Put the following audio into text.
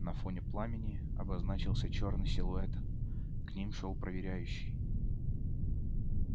на фоне пламени обозначился чёрный силуэт к ним шёл проверяющий